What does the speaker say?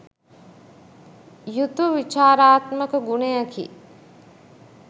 යුතු විචාරාත්මක ගුණයකි.